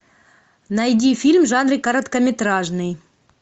найди фильм в жанре короткометражный